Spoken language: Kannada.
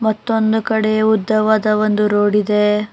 ಮತ್ತೊಂದು ಕಡೆ ಉದ್ದವಾದ ಒಂದು ರೋಡ್ ಇದೆ.